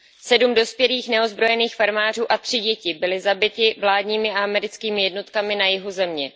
7 dospělých neozbrojeným farmářů a tři děti byli zabiti vládními a americkými jednotkami na jihu země.